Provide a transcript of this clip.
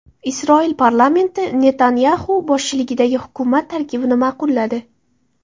Isroil parlamenti Netanyaxu boshchiligidagi hukumat tarkibini ma’qulladi.